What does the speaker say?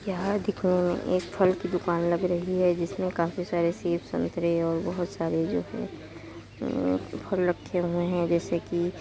यहाँ दिख अ एक फल की दुकान लग रही है। जिसमें काफी सारे सेब संतरे और बहुत सारे जो की फल रखे हुए है जैसे की --